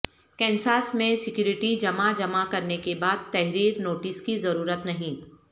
Kansas میں security جمع جمع کرنے کے بعد تحریر نوٹس کی ضرورت نہیں